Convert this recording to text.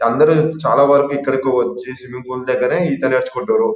అందరూ చాలా వరకు ఇక్కడికి వచ్చి సిమ్మింగ్ పూల్ దగ్గర ఈత నేర్చుకుంటారు.